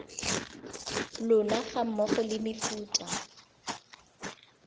lona ga mmogo le mefuta